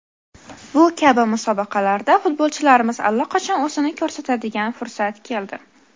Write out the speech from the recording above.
Bu kabi musobaqalarda futbolchilarimiz allaqachon o‘zini ko‘rsatadigan fursat keldi.